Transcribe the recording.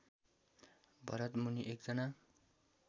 भरतमुनि एकजना